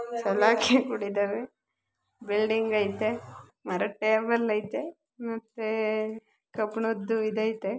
ಸಲಕಿ ಅಕ್ಬಿತ್ತಿದರೆ ಬಿಲ್ಡಿಂಗ್ ಅಯ್ತೆ ಮರದ ಟೇಬಲ್ ಆಯ್ತೆ ಮತ್ತೆ ಕಬ್ಬನದು ಇದು ಆಯ್ತೆ.